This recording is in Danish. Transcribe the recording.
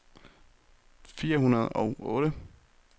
fire hundrede og otte